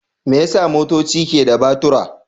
Me yasa motoci ke da batura?